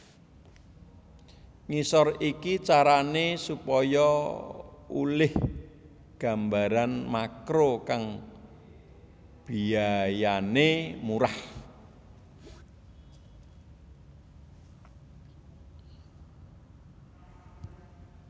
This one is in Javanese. Ngisor iki carané supaya olih gambar makro kang biayané murah